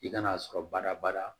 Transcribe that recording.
I kan'a sɔrɔ baara bada